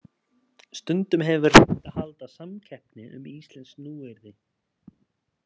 Stundum hefur verið reynt að halda samkeppni um íslensk nýyrði.